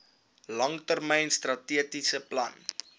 langtermyn strategiese plan